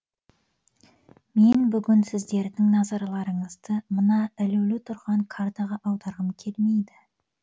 мен бүгін сіздердің назарларыңызды мына ілулі тұрған картаға аударғым келмейді